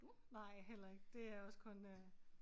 Nej heller ikke det er også kun øh